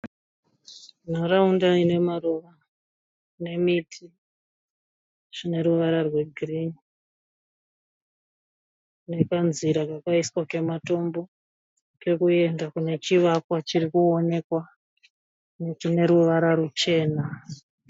Nharaunda ina maruva nemiti zvine ruvara rwegirini nekanzira kakaiswa kematombo kekuenda kune chivakwa chiri kunoonekwa chine ruvara ruchena.